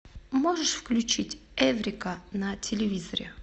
можешь включить эврика на телевизоре